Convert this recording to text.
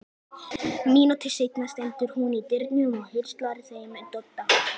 Mínútu seinna stendur hún í dyrunum og heilsar þeim Dodda.